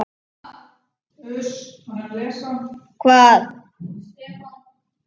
Ég gat ekki loftað henni.